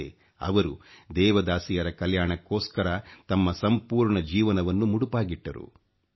ಆದರೆ ಅವರು ದೇವದಾಸಿಯರ ಕಲ್ಯಾಣಕ್ಕೋಸ್ಕರ ತಮ್ಮ ಸಂಪೂರ್ಣ ಜೀವನವನ್ನು ಮುಡುಪಾಗಿಟ್ಟರು